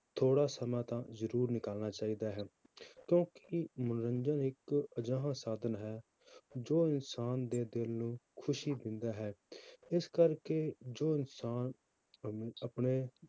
ਥੋੜ੍ਹਾ ਸਮਾਂ ਤਾਂ ਜ਼ਰੂਰ ਨਿਕਾਲਣਾ ਚਾਹੀਦਾ ਹੈ ਕਿਉਂਕਿ ਮਨੋਰੰਜਨ ਇੱਕ ਅਜਿਹਾ ਸਾਧਨ ਹੈ, ਜੋ ਇਨਸਾਨ ਦੇ ਦਿਲ ਨੂੰ ਖ਼ੁਸ਼ੀ ਦਿੰਦਾ ਹੈ ਇਸ ਕਰਕੇ ਜੋ ਇਨਸਾਨ ਆਪਣੇ,